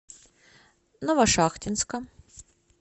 новошахтинска